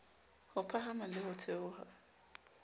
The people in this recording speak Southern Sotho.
ho phahama le ho theoha